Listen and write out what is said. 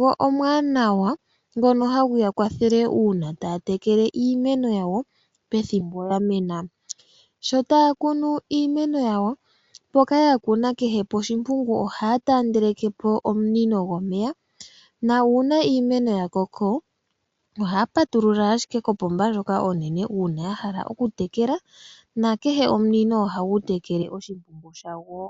go omwaanwa ngono hagu ya kwathele uuna taya tekele iimeno yawo pethimbo ya mena. Sho taya kunu iimeno yawo, mpoka ya kuna kehe poshimpungu ohaya taandeleke po omunino gomeya nuuna iimeno ya koko ohaya patulula ashike kopomba ndjoka onene uuna ya hala okutekela, nakehe omunino ohagu tekele oshimpungu shagwo.